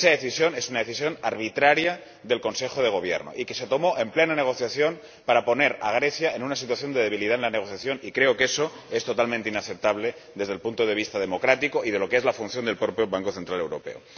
Esa decisión es una decisión arbitraria del Consejo de Gobierno y que se tomó en plena negociación para poner a Grecia en una situación de debilidad en la negociación, y creo que eso es totalmente inaceptable desde el punto de vista democrático y de lo que es la función del propio Banco Central Europeo.